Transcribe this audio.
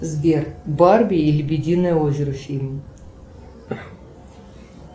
сбер барби и лебединое озеро фильм